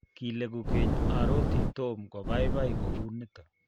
kileku keny aroti Tom ko baibai kou nito